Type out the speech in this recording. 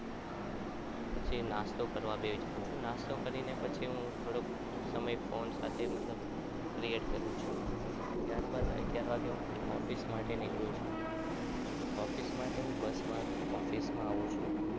પછી નાસ્તો કરવા બેસું છું નાસ્તો કરીને પછી હું થોડો સમય phone સાથે create કરું છું પછી અગિયાર વાગે office માટે નીકળું છું. office માટે હુ બસમાં office આવું છું.